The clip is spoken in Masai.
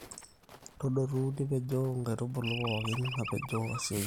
todotu nipejoo nkaitubulu pooki apejoo asioki